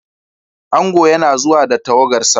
Ango yana zuwa da tawagarsa.